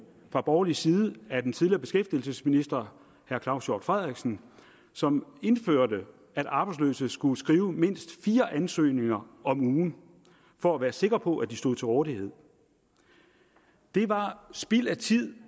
fra borgerlig side af den tidligere beskæftigelsesminister herre claus hjort frederiksen som indførte at arbejdsløse skulle skrive mindst fire ansøgninger om ugen for at være sikre på at de stod til rådighed det var spild af tid